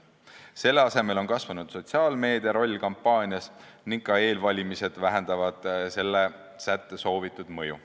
Selle asemel on kampaanias kasvanud sotsiaalmeedia roll ja ka eelvalimised vähendavad sätte soovitud mõju.